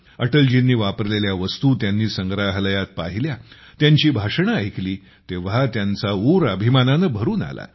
अटलजींनी वापरलेल्या वस्तू त्यांनी संग्रहालयात पाहिल्या त्यांची भाषणे ऐकली तेव्हा त्यांचा ऊर अभिमानाने भरून आला